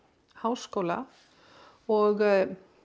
háskóla og